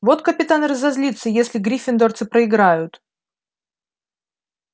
вот капитан разозлится если гриффиндорцы проиграют